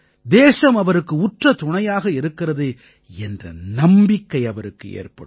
தேசம் அவருக்கு உற்ற துணையாக இருக்கிறது என்ற நம்பிக்கை அவருக்கு ஏற்படும்